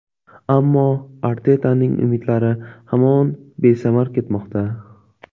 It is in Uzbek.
Ammo Artetaning umidlari hamon besamar ketmoqda.